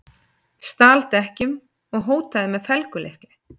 Stal dekkjum og hótaði með felgulykli